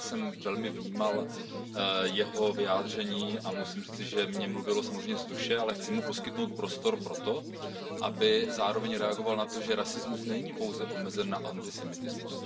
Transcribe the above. Já jsem velmi vnímal jeho vyjádření a musím říci, že mi mluvil samozřejmě z duše, ale chci mu poskytnout prostor pro to, aby zároveň reagoval na to, že rasismus není pouze omezen na antisemitismus.